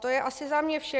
To je asi za mě vše.